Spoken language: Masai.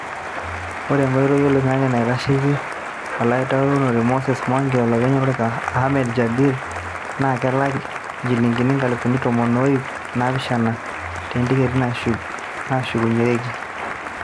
Ore enkoitoi oloingange naitasheki olautaroni Moses Mwangi o lopeny olorika Ahmed Jibril naa kelak injilingini inkalifuni tomon o iip naapishana te ntiketi nashukunyereki.